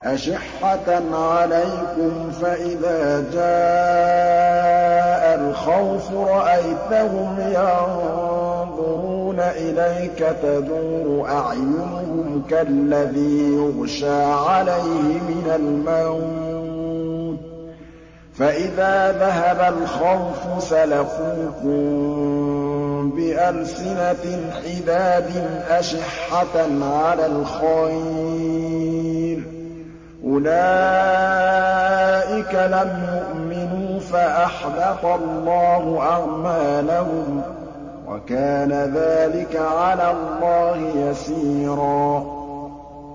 أَشِحَّةً عَلَيْكُمْ ۖ فَإِذَا جَاءَ الْخَوْفُ رَأَيْتَهُمْ يَنظُرُونَ إِلَيْكَ تَدُورُ أَعْيُنُهُمْ كَالَّذِي يُغْشَىٰ عَلَيْهِ مِنَ الْمَوْتِ ۖ فَإِذَا ذَهَبَ الْخَوْفُ سَلَقُوكُم بِأَلْسِنَةٍ حِدَادٍ أَشِحَّةً عَلَى الْخَيْرِ ۚ أُولَٰئِكَ لَمْ يُؤْمِنُوا فَأَحْبَطَ اللَّهُ أَعْمَالَهُمْ ۚ وَكَانَ ذَٰلِكَ عَلَى اللَّهِ يَسِيرًا